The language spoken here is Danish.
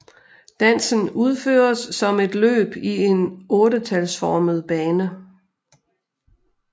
Dansen udføres som et løb i en ottetalsformet bane